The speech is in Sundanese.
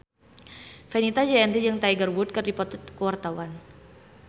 Fenita Jayanti jeung Tiger Wood keur dipoto ku wartawan